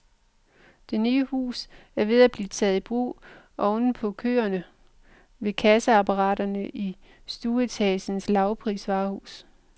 Det nye hus er ved at blive taget i brug oven på køerne ved kasseapparaterne i stueetagens lavprisvarehus.